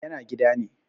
yana gida ne